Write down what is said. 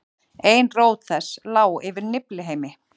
ein rót þess lá yfir niflheimi